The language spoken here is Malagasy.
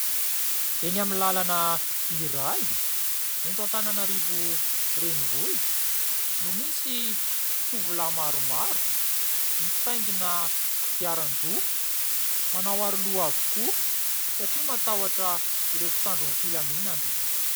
Eny amin'ny lalana iray eto Antananarivo renivohitra no misy tovolahy maromaro mitaingina kodiaran-droa manao aro-loha avokoa satria matahotra ireo mpitandron'ny filaminana.